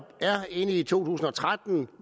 er inde i to tusind og tretten og